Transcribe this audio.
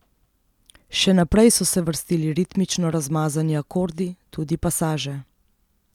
Še naprej so se vrstili ritmično razmazani akordi, tudi pasaže.